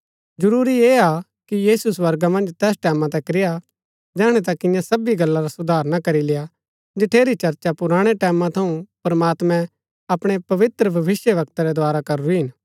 जरूरी ऐह हा कि यीशु स्वर्गा मन्ज तैस टैमां तक रेय्आ जैहणै तक इन्या सबी गल्ला रा सुधार ना करी लेय्आ जठेरी चर्चा पुराणै टैमां थऊँ प्रमात्मैं अपणै पवित्र भविष्‍यवक्ता रै द्धारा करूरी हिन